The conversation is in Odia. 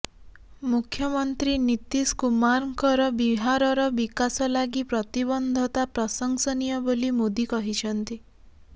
ମୁଖ୍ୟମନ୍ତ୍ରୀ ନୀତିଶ କୁମାରଙ୍କର ବିହାରର ବିକାଶ ଲାଗି ପ୍ରତିବଦ୍ଧତା ପ୍ରଶଂସନୀୟ ବୋଲି ମୋଦି କହିଛନ୍ତି